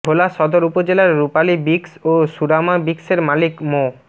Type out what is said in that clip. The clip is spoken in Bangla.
ভোলা সদর উপজেলার রূপালী ব্রিক্স ও সুরামা ব্রিক্সের মালিক মো